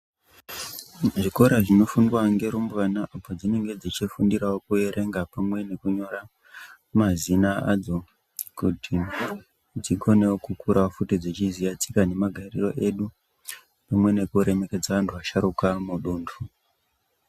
Zvikora zvinofundwa ngerumbwana padzinenge dzichifundirawo kuerenga pamwe nekunyora mazina adzo kuti dzikonewo kukura futi dzichiziya tsika nemagariro edu pamwe nekuremekedza antu asharuka mudundu.